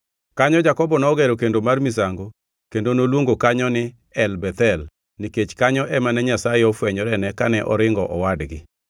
Kanyo Jakobo nogero kendo mar misango kendo noluongo kanyo ni El Bethel, nikech kanyo ema ne Nyasaye ofwenyorene kane oringo owadgi.